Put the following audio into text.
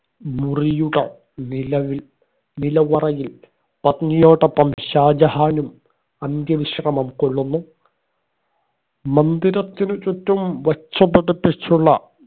മുറിയുടെ നിലവിൽ നിലവറയിൽ പത്നിയോടൊപ്പം ഷാജഹാനും അന്ത്യ വിശ്രമം കൊള്ളുന്നു മന്ദിരത്തിനു ചുറ്റും വച്ച് പിടിപ്പിച്ചുള്ള